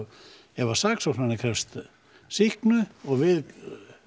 ef sakskóknari krefst sýknu og við